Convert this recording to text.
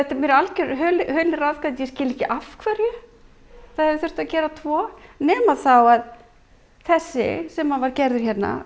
mér algjör hulin ráðgáta ég skil ekki af hverju það hafi þurft að gera tvo nema þá að þessi sem var gerður